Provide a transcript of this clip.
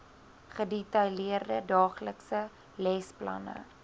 gedetailleerde daaglikse lesplanne